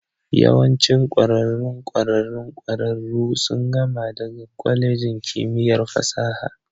Yawancin ƙwararrun ƙwararrun ƙwararru sun gama daga kwalejin kimiyyar fasaha